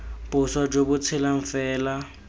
boswa jo bo tshelang fela